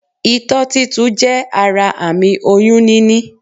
Itó títu jé ara àmì oyún níní